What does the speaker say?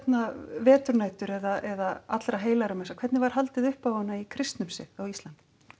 veturnætur eða hvernig var haldið upp á hana í kristnum sið á Íslandi